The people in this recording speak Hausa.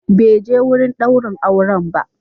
Bai je wurin daurin auren ba.